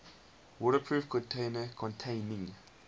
waterproof container containing